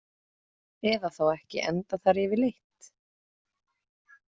Eða þá ekki endað þar yfirleitt?